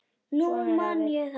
Nú man ég það!